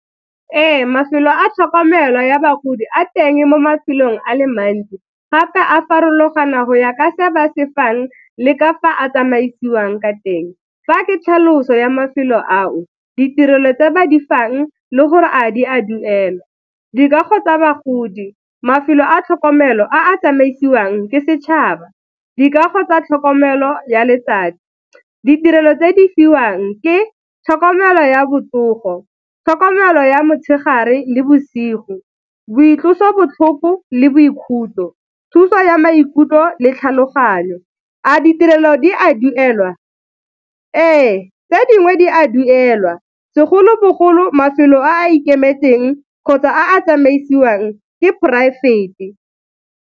Ee, mafelo a tlhokomelo ya bagodi a teng mo mafelong a le mantsi gape a farologana go ya ka se ba se fang le ka fa a tsamaisiwang ka teng. Fa ke tlhaloso ya mafelo ao, ditirelo tse ba di fang le gore a di a duelwa. Dikago tsa bagodi, mafelo a tlhokomelo a a tsamaisiwang ke setšhaba, dikago tsa tlhokomelo ya letsatsi. Ditirelo tse di fiwang ke tlhokomelo ya botsogo, tlhokomelo ya motshegare le bosigo, boitlosobotlhoko le boikhutso, thuso ya maikutlo le tlhaloganyo. A ditirelo di a duelwa? Ee, tse dingwe di a duelwa segolobogolo mafelo a a ikemetseng kgotsa a tsamaisiwang ke poraefete.